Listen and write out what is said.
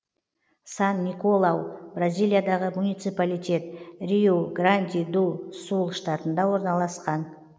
сан николау бразилиядағы муниципалитет риу гранди ду сул штатында орналасқан